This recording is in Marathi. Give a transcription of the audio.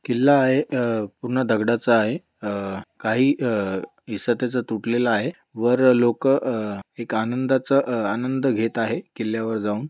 किल्ला आहे अ पूर्ण दगडांचा आहे अ काही अ हिस्सा त्याचा तुटलेला आहे वर लोक अ एक आनंदाचा अ आनंद घेत आहेत किल्यावर जाऊन.